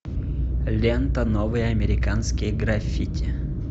лента новые американские граффити